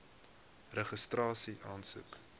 registrasieaansoek